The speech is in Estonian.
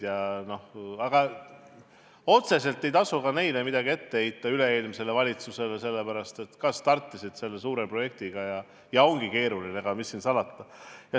Aga otseselt ei tasu üle-eelmisele valitsusele midagi ette heita, sest nad alles startisid selle suure projektiga ja see ongi keeruline, mis siin salata.